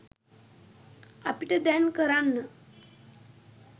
අපිට දැන් කරන්න